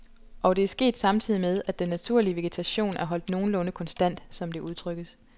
Og det er sket samtidig med, at den naturlige vegetation er holdt nogenlunde konstant, som det udtrykkes.